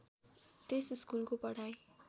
त्यस स्कुलको पढाइ